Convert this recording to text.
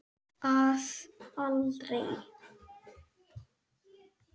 Að aldrei.